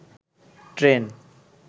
train